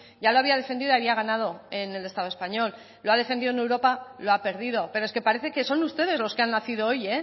ya lo había defendido había ganado en el estado español lo ha defendido en europa lo ha perdido pero es que parece que son ustedes los que han nacido hoy